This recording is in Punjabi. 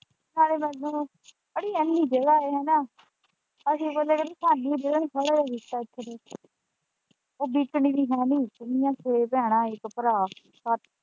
ਹਾਏ ਮਰਜਾਣਾ ਅੜੀਏ ਏੰਨੀ ਜਗਹ ਆਏ ਹਨਾਂ ਅਸੀਂ ਬੋਲਿਆ ਸਾਨੂੰ ਦੇ ਹੋਰ ਲੈ ਲੀ ਪੈਸੇ ਤੂੰ ਉਹ ਵਿੱਕਕਣੀ ਵੀ ਹੈ ਨੀ ਕਿੰਨੀਆਂ ਛੇ ਭੈਣਾਂ ਇੱਕ ਭਰਾ ਸੱਤ।